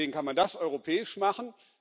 Deswegen kann man das europäisch machen.